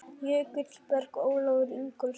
Jökulberg: Ólafur Ingólfsson.